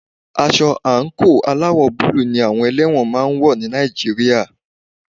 Aṣọ àńkò aláwọ̀ búlù ní àwọn ẹlẹ́wọ̀n máà ń wọ́ ní Nàìjíríà.